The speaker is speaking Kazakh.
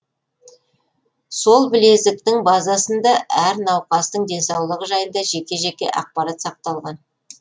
сол білезіктің базасында әр науқастың денсаулығы жайында жеке жеке ақпарат сақталған